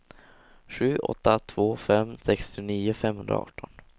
sju åtta två fem sextionio femhundraarton